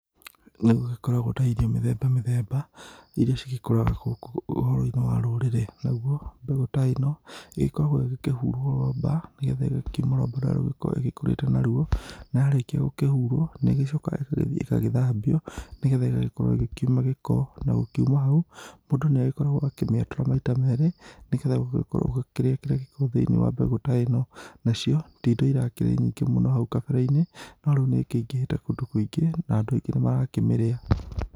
Nĩ gũgĩkoragũo na irio mĩthemba mĩthemba, iria cigĩkũraga gũkũ ũhoroini wa rurĩrĩ. Nagũo mbegũ ta ĩno, nĩ ĩkoragwo ĩgĩkĩhurwo rwamba, nĩngetha ĩgakiuma rwamba rũrĩa ĩgikoragwo ĩkũrĩte naruo. Na yarĩĩkia gũkĩhurwo, nĩ ĩgĩcokaga ĩgagĩthambio, nĩ getha ĩgagĩkorwo ĩgĩkiuma gĩko. Na gũkiuma hau, mũndũ nĩagĩkoragwo akĩmĩatũra maita merĩ nĩ geetha ũgĩkorwo ũkĩrĩa kĩrĩa gĩi thĩiniĩ wa mbegũ ta ĩno. Nacio ti indo irakĩrĩ nyingĩ mũno hau kabere-inĩ no riũ nĩ ikĩingĩhĩte kũndũ kũingĩ na andũ aingĩ nĩmarakĩmĩrĩa.